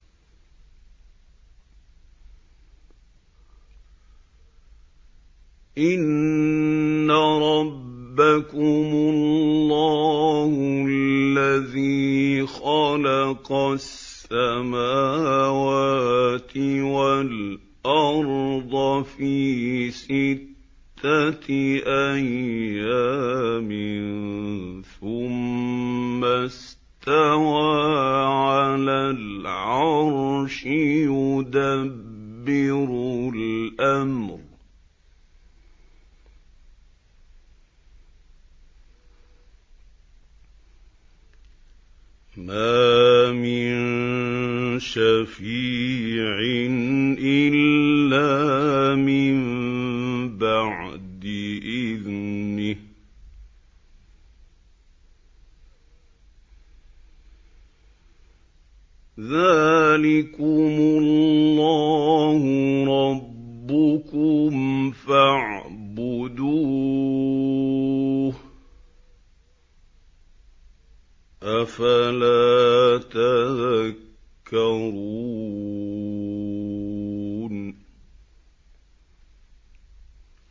إِنَّ رَبَّكُمُ اللَّهُ الَّذِي خَلَقَ السَّمَاوَاتِ وَالْأَرْضَ فِي سِتَّةِ أَيَّامٍ ثُمَّ اسْتَوَىٰ عَلَى الْعَرْشِ ۖ يُدَبِّرُ الْأَمْرَ ۖ مَا مِن شَفِيعٍ إِلَّا مِن بَعْدِ إِذْنِهِ ۚ ذَٰلِكُمُ اللَّهُ رَبُّكُمْ فَاعْبُدُوهُ ۚ أَفَلَا تَذَكَّرُونَ